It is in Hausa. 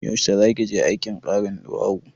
Yaushe zaki je aikin karin ɗuwawu?